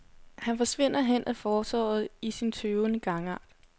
Han forsvinder hen ad fortovet i sin tøvende gangart.